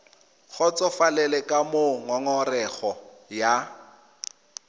kgotsofalele ka moo ngongorego ya